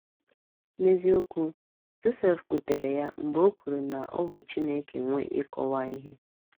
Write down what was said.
N’eziokwu, Josef kwutere ya mgbe o kwuru na ọ bụ Chineke nwe ịkọwa ihe.